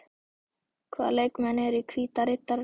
Hvaða leikmenn eru í Hvíta Riddaranum?